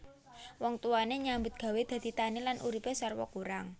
Wong tuwane nyambut gawé dadi tani lan uripe sarwa kurang